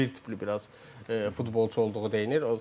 Bir az Zubir tipli biraz futbolçu olduğu deyinir.